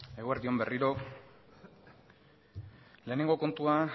eguerdi on berriro lehenengo kontua